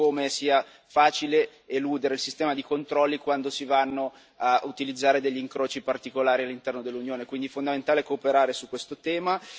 Vediamo come sia facile eludere il sistema di controlli quando si utilizzano incroci particolari all'interno dell'Unione, quindi è fondamentale cooperare su questo tema.